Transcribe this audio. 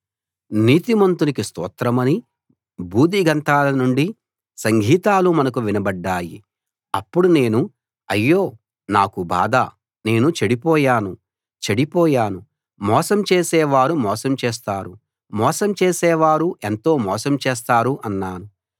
నీతిమంతునికి స్తోత్రమని భూదిగంతాల నుండి సంగీతాలు మనకు వినబడ్డాయి అప్పుడు నేను అయ్యో నాకు బాధ నేను చెడిపోయాను చెడిపోయాను మోసం చేసే వారు మోసం చేస్తారు మోసం చేసే వారు ఎంతో మోసం చేస్తారు అన్నాను